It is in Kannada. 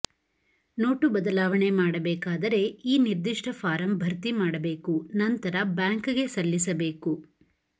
ನೋಟು ಬದಲಾವಣೆ ಮಾಡಬೇಕಾದರೆ ಈ ನಿರ್ದಿಷ್ಟ ಫಾರಂ ಭರ್ತಿ ಮಾಡಬೇಕು ನಂತರ ಬ್ಯಾಂಕ್ ಗೆ ಸಲ್ಲಿಸಬೇಕು